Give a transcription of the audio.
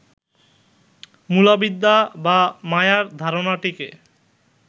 মূলাবিদ্যা বা মায়ার ধারণাটিকে